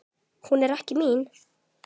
Hún er ekki mín.